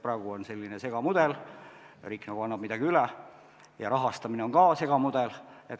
Praegu on selline segamudel, riik nagu annab midagi üle, ja rahastamine on ka segamudel.